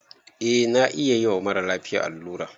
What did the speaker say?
Eh na iya yiwa mara lafiya allura